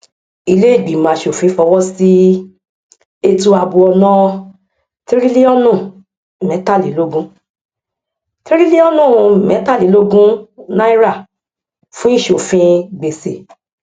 iléìgbìmọ aṣòfin fọwọsí ètò ààbò ọnà tíríliọnù mẹtàlélógún tíríliọnù mẹtàlélógún náírà fún ìṣòfin gbèsè